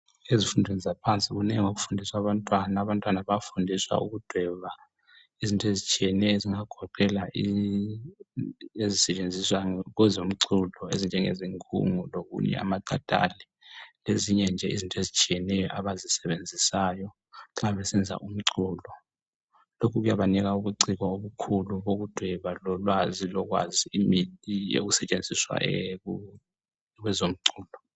Ezifundweni yaphansi kuningi okufundiswa abantwana abantwana bayafundiswa ukudweba izinto ezitshiyeneyo ezingagoqela ezisentshenziswa kwezo mculo ezinjenge ngungu lokunye amakatali lezinye nje izinto ezitshiyeneyo abazisebenzisayo nxa besenza umculo